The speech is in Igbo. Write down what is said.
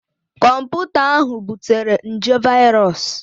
Kọmputa ahụ butere nje viros